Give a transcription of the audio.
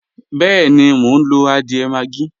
Bẹẹ́ni, mo ń lo adiẹ́ maggi